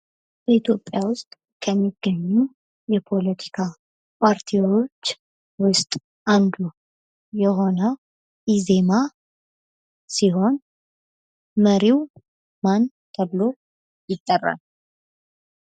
ኢትዮጵያ ዉስጥ ከሚገኙ የፖለቲካ ፓርቲዎች ዉስጥ አንዱ የሆነው ኢዜማ ሲሆን፤ መሪው ማን ተብሎ ይጠራል?